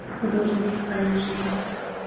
художники своей жизни